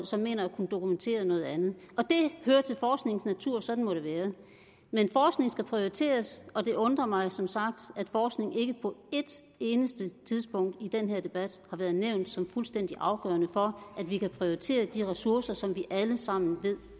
som mener at kunne dokumentere noget andet og det hører til forskningens natur sådan må det være men forskning skal prioriteres og det undrer mig som sagt at forskning ikke på et eneste tidspunkt i den her debat har været nævnt som fuldstændig afgørende for at vi kan prioritere de ressourcer som vi alle sammen ved